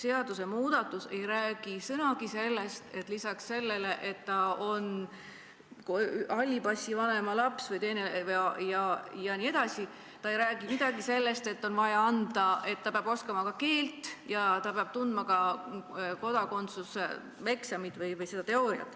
Selles eelnõus ei räägita sõnagi sellest, et lisaks sellele, et tegu peab olema halli passiga vanema lapsega, peab see laps oskama eesti keelt ja peab olema teinud kodakondsuse eksami.